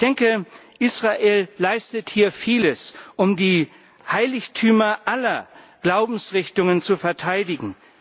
Ich denke, Israel leistet hier vieles, um die Heiligtümer aller Glaubensrichtungen zu verteidigen.